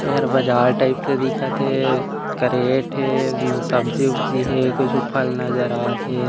ए हर बजार टाइप से दिखत हे करेट हे ओमा सब्जी-उब्जी हे कुछु फल नज़र आत हे।